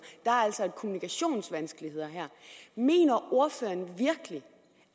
er altså kommunikationsvanskeligheder her mener ordføreren virkelig